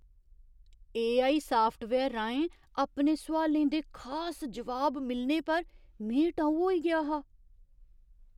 AI software राहें अपने सोआलें दे खास जवाब मिलने पर में टऊ होई गेआ हा।